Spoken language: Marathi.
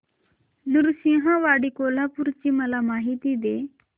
नृसिंहवाडी कोल्हापूर ची मला माहिती दे